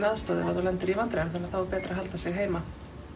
aðstoð ef þú lendir í vandræðum þannig að þá er betra að halda sig heima